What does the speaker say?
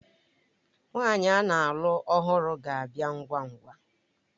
Nwaanyi ana-alụ ọhụrụ ga-abịa ngwa ngwa.